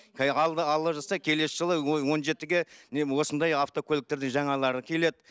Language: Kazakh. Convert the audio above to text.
алла жазса келесі жылы он жетіге міне осындай автокөліктердің жаңалары келеді